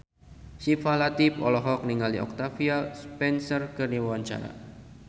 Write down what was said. Syifa Latief olohok ningali Octavia Spencer keur diwawancara